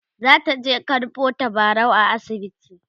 zataje karɓo tabarau a asibiti